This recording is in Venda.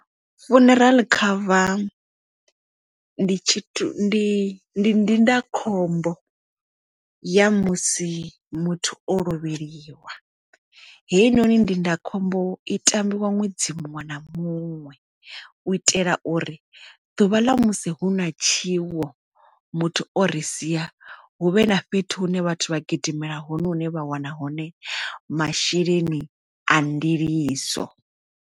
Funeral cover ndi ndindakhombo ya musi muthu o lovheliwa heinoni ndindakhombo i tambiwa ṅwedzi muṅwe na muṅwe u itela uri ḓuvha ḽa musi hu na tshiwo muthu o ri sia huvhe na fhethu hune vhathu vha gidimela hone hune vha wana hone masheleni a ndiliso.